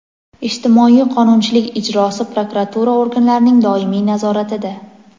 ijtimoiy qonunchilik ijrosi prokuratura organlarining doimiy nazoratida.